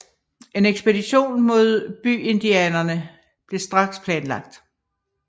En ekspedition mod byindianerne blev straks planlagt